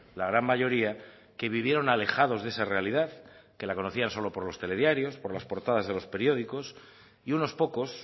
la gran mayoría que vivieron alejados de esa realidad que la conocían solo por los telediarios por las portadas de los periódicos y unos pocos